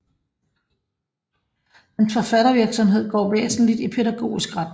Hans forfattervirksomhed går væsentlig i pædagogisk retning